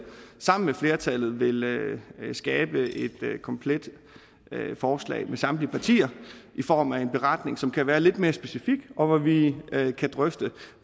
sammen med flertallet vil vil skabe et komplet forslag med samtlige partier i form af en beretning som kan være lidt mere specifik og hvor vi kan drøfte